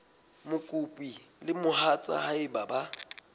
mokopi le mohatsa hae ba